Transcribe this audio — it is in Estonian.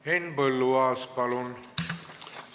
Henn Põlluaas, palun!